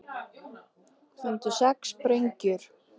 Fundu sex sprengjur